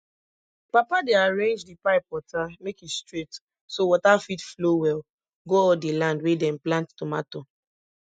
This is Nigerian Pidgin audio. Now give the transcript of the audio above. papa dey arrange di pipe water make e straight so water fit flow well go all di land wey dem plant tomato